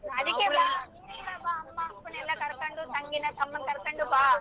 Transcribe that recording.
ಅದಕ್ಕೆ ಬಾ ನೀನೆ ಕೂಡ ಬಾ ಅಮ್ಮ ಅಪ್ಪನ್ ಎಲ್ಲಾ ಕರ್ಕೊಂಡು ತಂಗಿನ ತಮ್ಮನ್ನ ಕರ್ಕೊಂಡು ಬಾ.